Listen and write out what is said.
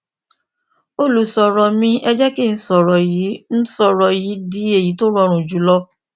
olùṣòro mi ẹ jẹ kí n sọrọ yìí n sọrọ yìí di èyí tí ó rọrùn jù lọ